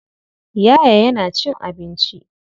Yaya yana cin abinci.